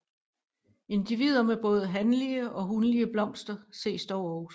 Individer med både hanlige og hunlige blomster ses dog også